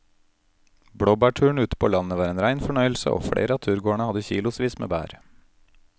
Blåbærturen ute på landet var en rein fornøyelse og flere av turgåerene hadde kilosvis med bær.